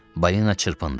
Balina çırpındı.